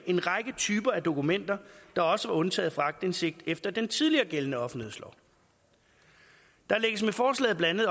en række typer af dokumenter der også var undtaget fra aktindsigt efter den tidligere gældende offentlighedslov der lægges med forslaget blandt